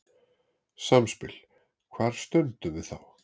Samspil Hvar stöndum við þá?